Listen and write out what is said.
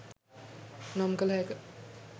නම් කල හැක